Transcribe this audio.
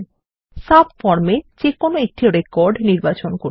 subform এ যেকোনো একটি রেকর্ড নির্বাচন করুন